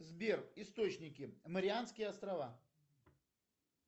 сбер источники марианские острова